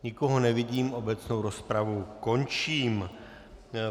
Nikoho nevidím, obecnou rozpravu končím.